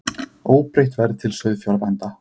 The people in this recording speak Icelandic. Óbreytt verð til sauðfjárbænda